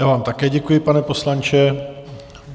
Já vám také děkuji, pane poslanče.